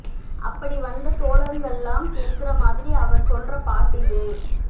அப்படி வந்த தோழருங்கள்ளாம் கேக்கற மாதிரி அவ சொல்ற பாட்டு இது